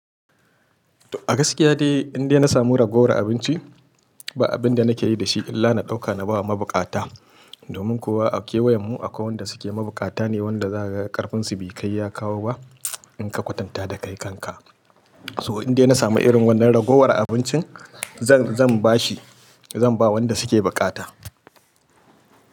A gaskiya dai indai na samu ragowar abinci ba abin da na ke yi da shi illa na ɗauka na ba wa mabukata. Domin kuwa a kewayen mu akwai wanda suke mabukata ne wanda za ka ga ƙarfin su bi kai ya kawo ba in ka kwatanta da kai kanka. So indai na samu irin wannan ragowar abincin zan, zan ba shi, zan ba wanda suke bukata.